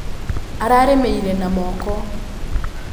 Ararĩmĩire na moko.